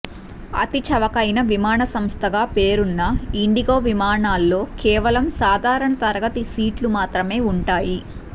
అతి చవకైన విమానసంస్థగా పేరున్న ఇండిగో విమానాల్లో కేవలం సాధారణ తరగతి సీట్లు మాత్రమే ఉంటాయి